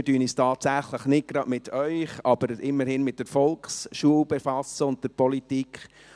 Sie haben nun gesehen, wir befassen uns tatsächlich nicht gerade mit Ihnen, aber immerhin mit der Volksschule und der Politik.